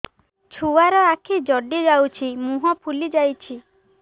ଛୁଆର ଆଖି ଜଡ଼ି ଯାଉଛି ମୁହଁ ଫୁଲି ଯାଇଛି